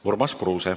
Urmas Kruuse.